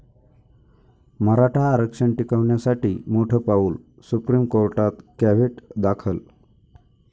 मराठा आरक्षण टिकवण्यासाठी मोठं पाऊल, सुप्रीम कोर्टात कॅव्हेट दाखल